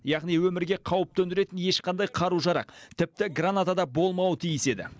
яғни өмірге қауіп төндіретін ешқандай қару жарақ тіпті граната да болмауы тиіс еді